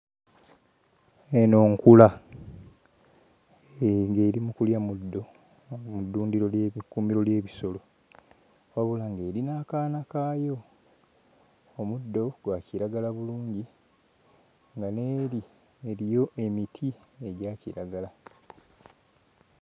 Eno nkula. Hee, ng'eri mu kulya muddo mu ddundiro ly'ebi... mu kkuumiro ly'ebisolo wabula ng'eri n'akaana kaayo. Omuddo gwa kiragala bulungi nga n'eri eriyo emiti egya kiragala.